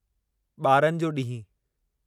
बारनि जो ॾींहुं